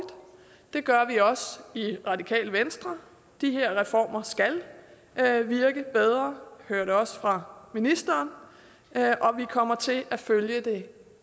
det gør vi også i radikale venstre de her reformer skal virke bedre og hører vi også fra ministeren og vi kommer til at følge det